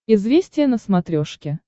известия на смотрешке